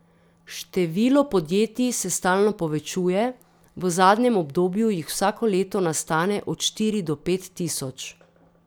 Število podjetij se stalno povečuje, v zadnjem obdobju jih vsako leto nastane od štiri do pet tisoč.